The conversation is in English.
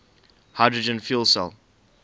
hydrogen fuel cell